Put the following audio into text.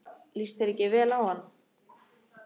Líst þér ekki vel á hann?